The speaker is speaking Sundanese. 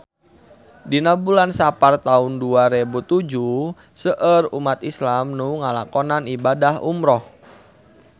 Dina bulan Sapar taun dua rebu tujuh seueur umat islam nu ngalakonan ibadah umrah